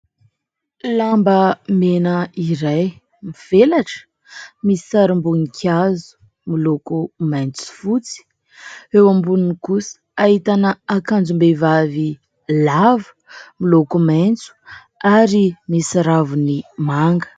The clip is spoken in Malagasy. Lamba mena iray mivelatra misy sarim-boninkazo miloko maitso sy fotsy, eo amboniny kosa ahitana akanjom-behivavy lava miloko maitso ary misy raviny manga.